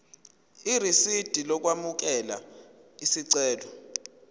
irisidi lokwamukela isicelo